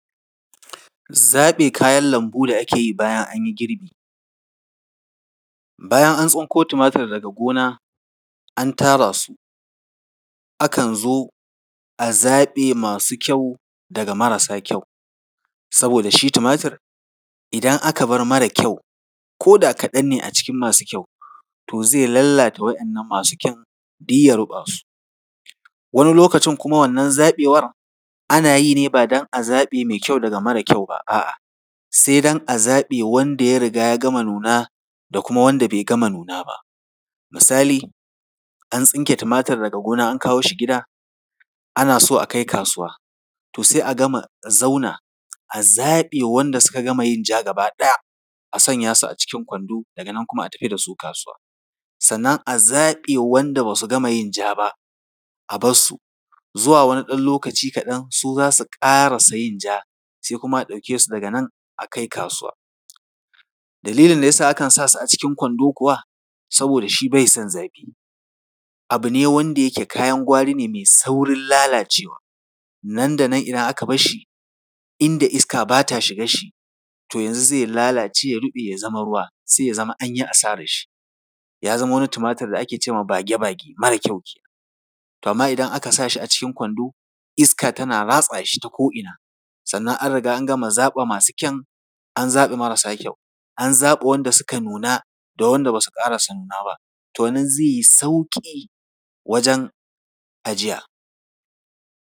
Zaɓe kayan lambu da ake bayan an yi girbi. Bayan an tsinko tumatur daga gona, an tara su, akan zo a zaɓe masu kyau daga marasa kyau, saboda shi tumatur, idan aka bar mara kyau, ko da kaɗan ne a cikin masu kyau, to zai lallata wannan masu kyan, duk ya ruɓa su. Wani lokacin kuma wannan zaɓewar, ana yi ne ba don a zaɓe mai kyau daga mara kyau ba, a’a, sai don a zaɓe wanda ya riga ya gama nuna da kuma wanda bai gama nuna ba. Misali, an tsinke tumatur daga gona, an kawo shi gida, ana so a kai kasuwa, to sai a gama zauna a zaɓe wanda suka gama yin ja gaba ɗaya, a sanya su a cikin kwando, daga nan kuma, a tafi da su kasuwa. Sannan a zaɓe waɗanda ba su gama yin ja ba, a bar su, zuwa wani ɗan lokaci kaɗan, su za su ƙarasa yin ja, sai kuma a ɗauke su daga nan, a kai kasuwa. Dalilin da ya sa akan sa su a cikin kwando kuwa, saboda shi bai son zafi. Abu ne wanda yake kayan gwarri ne mai saurin lalacewa, nan da nan idan aka bar shi, inda iska ba ta shigar shi, to yanzu zai lalace ya ruɓe, ya zama ruwa, sai ya zama an yi asarar shi. Ya zama wani tumatur da ake ce ma ‘bage-bage’, mara kyau. To amma idan aka sa shi a cikin kwando, iska tana ratsa shi ta ko ina, sannan an riga an gama zaɓe masu kyan, an zaɓe marasa kyau, an zaɓe wanda suka nuna da wanda ba su ƙarasa nuna ba, to nan zai yi sauƙi wajen ajiya.